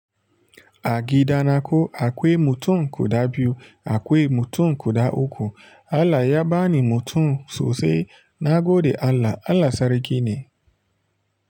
A gida na ko akwai mutum guda biyu, akwai mutum guda uku. Allah ya bani mutum sosai na gode Allah. Allah sarki ne.